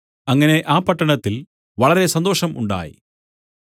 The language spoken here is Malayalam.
അങ്ങനെ ആ പട്ടണത്തിൽ വളരെ സന്തോഷം ഉണ്ടായി